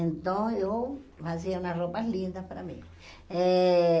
Então, eu fazia uma roupa linda para mim. Eh